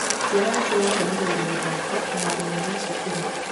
Ciana nĩcirakenereire mĩthako kĩharoinĩ gia cukuru.